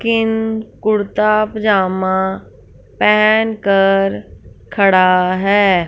किन कुर्ता पजामा पेहेनकर खड़ा है।